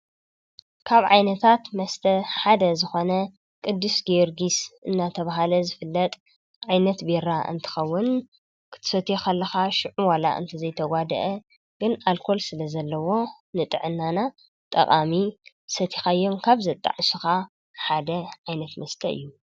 ካብ ዓይነታት መስተ ሓደ ዝኾነ ቅዱስ ገይርጊስ እናተብሃለ ዝፍለጥ ዓይነት ቤራ እንትኸውን ክትሰቱኸለኻ ሽዑ ዋላ እንተ ዘይተጓድአ ግን ኣልኰል ስለ ዘለዎ ንጥዕናና ጠቓሚ ሰቲኻዮም ካብ ዘጣዕ ስኻ ሓደ ዓይነት መስተ እዩ